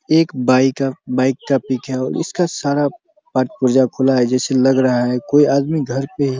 एक बाइक है बाइक का पिक है और उसका सारा पार्ट पुर्जा खुला है जैसे लग रहा है कोई आदमी घर पे --